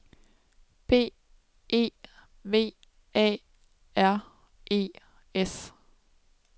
B E V A R E S